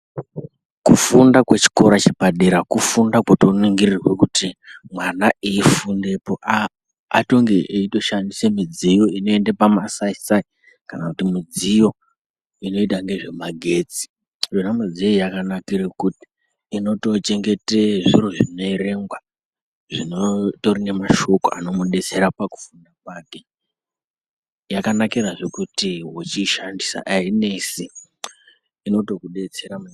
Kufunda kwechikora chepadera kufunda kotoningirirwa kuti mwana eifundepo atonge eitoshandise midziyo inoenda pamasaisai kana kuti midziyo inoita ngezvemagetsi. Yona midziyo yakanakire kuti inotochengete zviro zvinoerengwa zvinotori nemashoko anomudetsera pakufunda kwake. Yakanakirazve kuti wechishandisa zviya ainesi inotokudetsera.